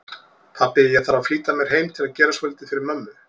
Pabbi, ég þarf að flýta mér heim til að gera svolítið fyrir mömmu